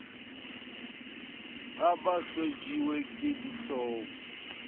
ha ba hlajiwe ke dihloong